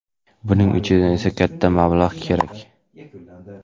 Buning uchun esa katta mablag‘ kerak.